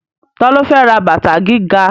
Ta ló fẹ́ ra bàtà gíga?